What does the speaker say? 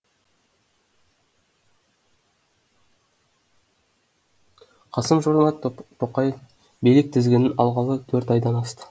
қасым жомарт тоқаев билік тізгінін алғалы төрт айдан асты